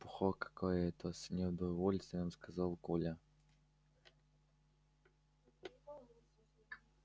чепуха какая то с неудовольствием сказал коля